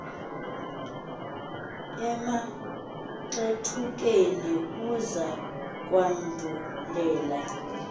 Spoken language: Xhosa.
emaxethukeni kuza kwandulela